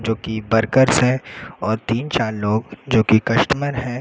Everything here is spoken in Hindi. जो कि वर्कर्स है और तीन चार लोग जो कि कस्टमर है।